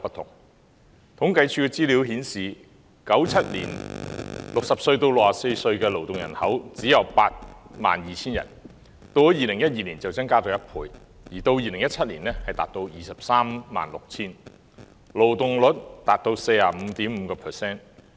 政府統計處的資料顯示，在1997年 ，60 歲至64歲的勞動人口只有 82,000 人，到了2012年增加了1倍，而到2017年，達到 236,000 人，勞動人口參與率達 45.5%。